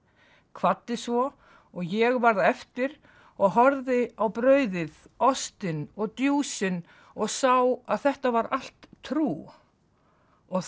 kvaddi svo og ég varð eftir og horfði á brauðið ostinn og og sá að þetta var allt trú og